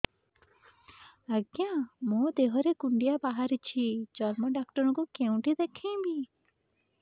ଆଜ୍ଞା ମୋ ଦେହ ରେ କୁଣ୍ଡିଆ ବାହାରିଛି ଚର୍ମ ଡାକ୍ତର ଙ୍କୁ କେଉଁଠି ଦେଖେଇମି